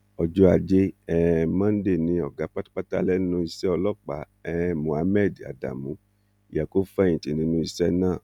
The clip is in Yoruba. ọjọ ajé um monde ni ọgá pátápátá lẹnu iṣẹ ọlọpàá um mohammed adamu yẹ kó fẹyìntì nínú iṣẹ náà